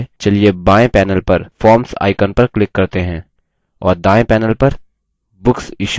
यह करने के लिए चलिए बाएँ panel पर forms icon पर click करते हैं